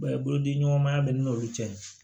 bolodiliɲɔgɔnmaya bɛ ne n'olu cɛ